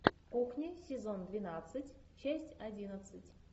кухня сезон двенадцать часть одиннадцать